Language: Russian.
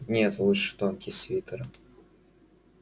нет лучше тонкий свитер